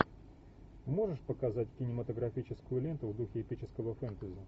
можешь показать кинематографическую ленту в духе эпического фэнтези